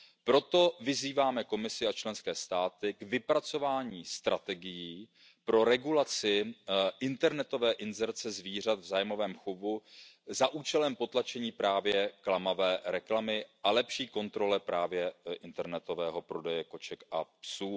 zvíře. Proto vyzýváme Komisi a členské státy k vypracování strategií pro regulaci internetové inzerce zvířat v zájmovém chovu za účelem potlačení klamavé reklamy a lepší kontroly internetového prodeje koček